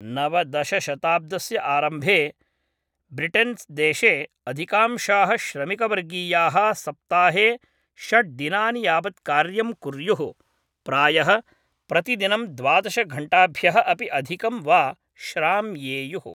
नवदश शताब्दस्य आरम्भे ब्रिटेन्देशस्य अधिकांशाः श्रमिकवर्गीयाः सप्ताहे षड्दिनानि यावत् कार्यं कुर्युः, प्रायः प्रतिदिनं द्वादशघण्टाभ्यः अपि अधिकं वा श्राम्येयुः।